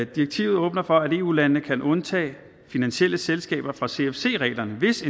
direktivet åbner for at eu landene kan undtage finansielle selskaber fra cfc reglerne hvis